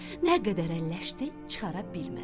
Nə qədər əlləşdi, çıxara bilmədi.